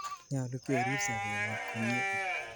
Nyalu kerip sobennyo komnye